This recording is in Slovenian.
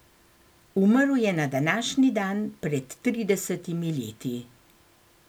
Umrl je na današnji dan pred tridesetimi leti.